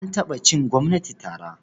An taɓa cin gwamnati tara.